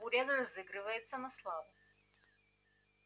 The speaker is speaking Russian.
буря разыграется на славу